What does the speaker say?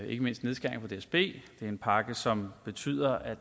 ikke mindst nedskæringer på dsb det er en pakke som betyder at